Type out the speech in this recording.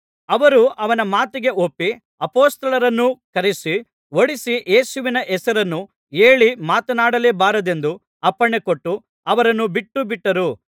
ಅವರು ಅವನ ಮಾತಿಗೆ ಒಪ್ಪಿ ಅಪೊಸ್ತಲರನ್ನು ಕರೆಯಿಸಿ ಹೊಡಿಸಿ ಯೇಸುವಿನ ಹೆಸರನ್ನು ಹೇಳಿ ಮಾತನಾಡಲೇಬಾರದೆಂದು ಅಪ್ಪಣೆಕೊಟ್ಟು ಅವರನ್ನು ಬಿಟ್ಟುಬಿಟ್ಟರು